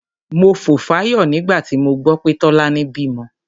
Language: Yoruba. Mo fò fáyọ̀ nígbà tí mo gbọ́ pé Tọ́lání bímọ.